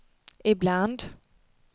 ibland